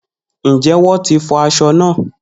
Njẹ wọn ti fọ aṣọ- naa?